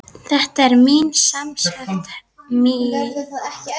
Þetta er semsagt mín herför.